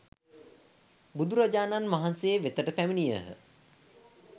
බුදුරජාණන් වහන්සේ වෙතට පැමිණියහ.